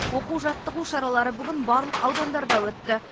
оқу жаттығу шаралары бүгін барлық аудандарда өтті